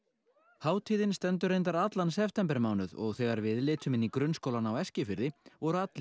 hátíðin stendur reyndar allan septembermánuð og þegar við litum í grunnskólanum á Eskifirði voru allir